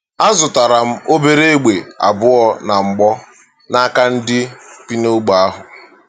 Azụtara m obere egbe abụọ na mgbọ n’aka ndị bi n’ogbe ahụ.